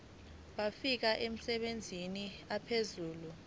wafika emabangeni aphezulu